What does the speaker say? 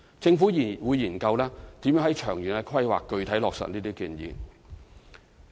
政府會研究如何在長遠的規劃具體落實這些建議。